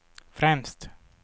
främst